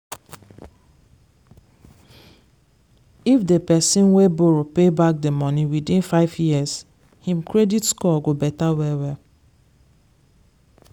if the person wey borrow pay back the money within five years him credit score go better well well.